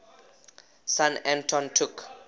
son anton took